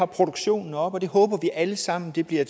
produktionen er oppe håber vi alle sammen at det bliver